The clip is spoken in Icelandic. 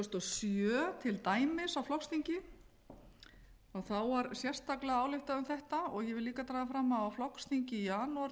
sjö til dæmis á flokksþingi var sérstaklega ályktað um þetta ég vil líka draga fram að á flokksþingi í janúar